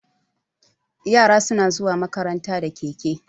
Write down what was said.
Yara suna zuwa makaranta da keke.